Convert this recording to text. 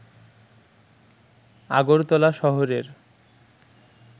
আগরতলা শহরের